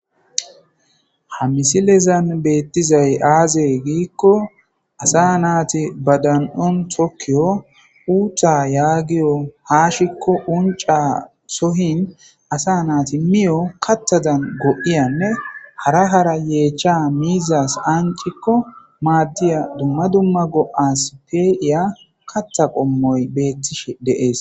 Hamisilezan betizay aze gikko asa nata ba dan'on tokiya uuththa yagiyo hashiko unca asa nayti miyo kathadan go'iyanne hessadan yecha miizas anciko mathiya duma duma go'as pe'iya katha qomoy beyishe de'esko